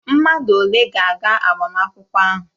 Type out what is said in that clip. Mmadụ ole ga-aga agbamakwụkwọ ahụ?